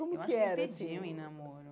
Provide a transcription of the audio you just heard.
Como que era assim Eu acho que ele pediu em namoro.